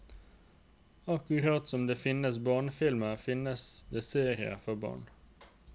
Akkurat som det finnes barnefilmer, finnes det serier for barn.